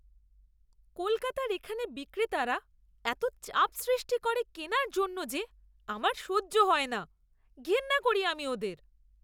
কলকাতার এখানে বিক্রেতারা এত চাপ সৃষ্টি করে কেনার জন্য যে আমার সহ্য হয় না। ঘেন্না করি আমি ওদের।